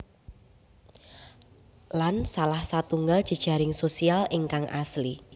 Lan salah satunggal jejaring sosial ingkang asli